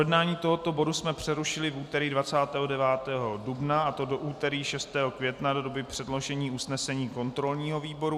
Projednání tohoto bodu jsme přerušili v úterý 29. dubna, a to do úterý 6. května do doby předložení usnesení kontrolního výboru.